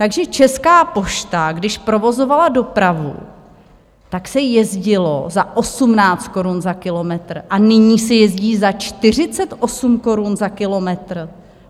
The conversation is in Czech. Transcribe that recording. Takže Česká pošta, když provozovala dopravu, tak se jezdilo za 18 korun za kilometr a nyní se jezdí za 48 korun za kilometr!